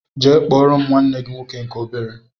Jee kpọrọ m nwanne gị nwoke nke obere!!!